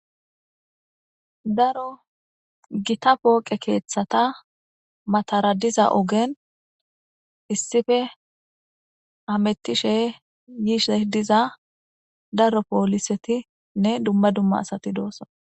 Daro gitta poqqe keththata mattara diza oggen issippe hamettishe yishshe diza daro polissetinne Duma duma asati doosona.